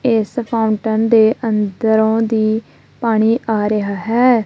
ਇਸ ਫਾਟਨ ਦੇ ਅੰਦਰੋਂ ਦੀ ਪਾਣੀ ਆ ਰਿਹਾ ਹੈ।